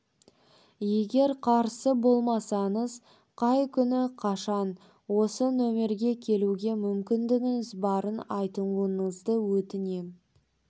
егер қарсы болмасаңыз қай күні қашан осы нөмерге келуге мүмкіндігіңіз барын айтуыңызды өтінем